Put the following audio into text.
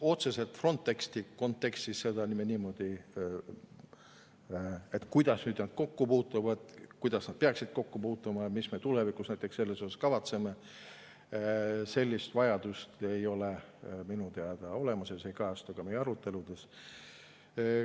Otseselt Frontexi kontekstis, et kuidas need kokku puutuvad, kuidas need peaksid kokku puutuma ja mida me tulevikus näiteks selles asjas kavatseme, minu teada ei ole ja see ei kajastu ka meie aruteludes.